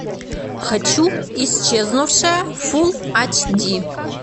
хочу исчезнувшая фулл ач ди